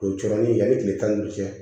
O ye coronli yani tile tan ni duuru cɛ